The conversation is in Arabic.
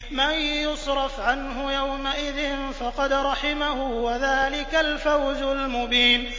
مَّن يُصْرَفْ عَنْهُ يَوْمَئِذٍ فَقَدْ رَحِمَهُ ۚ وَذَٰلِكَ الْفَوْزُ الْمُبِينُ